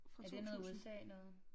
Er det noget USA noget?